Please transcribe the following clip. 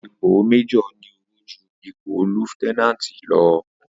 ípò Májòr ní ọ̀wọ̀ júù ípò líéutènàntì lọ